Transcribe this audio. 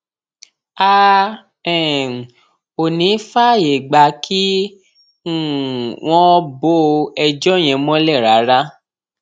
a um ò ní í fààyè gbà kí um wọn bo ẹjọ yẹn mọlẹ rárá